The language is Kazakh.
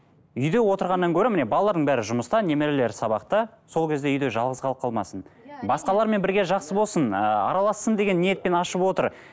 үйде отырғаннан гөрі міне балалардың бәрі жұмыста немерелері сабақта сол кезде үйде жалғыз қалып қалмасын басқалармен бірге жақсы болсын ы аралассын деген ниетпен ашып отыр